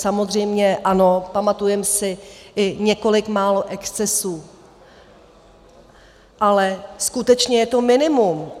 Samozřejmě ano, pamatujeme si i několik málo excesů, ale skutečně je to minimum.